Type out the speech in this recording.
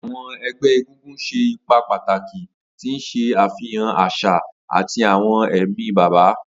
Awọn ẹgbẹ egungun ṣe ipa pataki, ti n ṣe afihan aṣa ati awọn ẹmi baba.